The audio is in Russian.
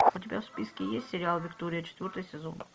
у тебя в списке есть сериал виктория четвертый сезон